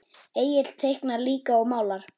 Egill teiknar líka og málar.